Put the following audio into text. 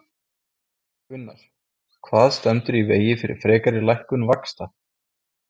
Gunnar: Hvað stendur í vegi fyrir frekari lækkun vaxta?